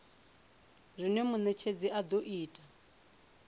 zwine munetshedzi a do ita